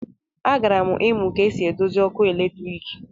A gara'm imu ka esi edozi òkù eletrik.